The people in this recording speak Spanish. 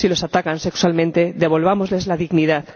Si los atacan sexualmente, devolvámosles la dignidad.